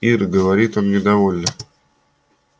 ир говорит он недовольно